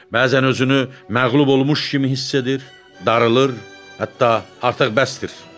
Bəzən özünü məğlub olmuş kimi hiss edir, darılır, hətta artıq bəsdir.